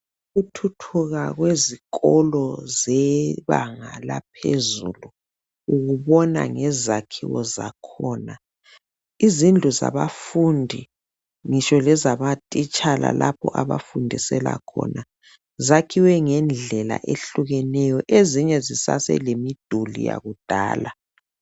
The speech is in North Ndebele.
Ukuthuthuka kwezikolo zebanga laphezulu ukubona ngezakhiwo zakhona izindlu zabafundi ngitsho lezama titshala lapho abafundisela khona zakhiwe ngendlela ehlukaneyo ezinye zisasele miduli yakudala.